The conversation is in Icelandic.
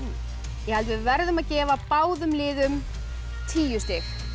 ég held við verðum að gefa báðum liðum tíu stig